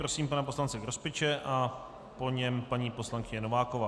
Prosím pana poslance Grospiče a po něm paní poslankyně Nováková.